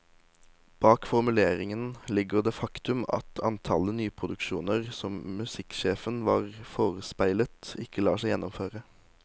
Bak formuleringen ligger det faktum at antallet nyproduksjoner som musikksjefen var forespeilet, ikke lar seg gjennomføre.